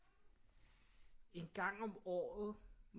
En gang om året